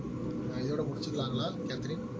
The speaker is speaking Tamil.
ஆஹ் இதோட முடிச்சுக்கலாங்கலா கேத்ரின்